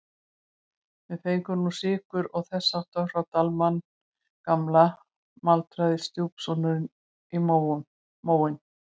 Við fengum nú sykur og þess háttar frá Dalmann gamla maldaði stjúpsonurinn í móinn.